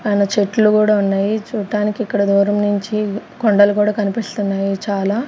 చెట్లు గూడా ఉన్నాయి. చూడటానికి ఇక్కడ దూరం నుంచి కొండలు గూడా కనిపిస్తున్నాయి చాలా--